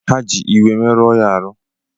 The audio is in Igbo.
Ha ji iwe meruo ya ahụ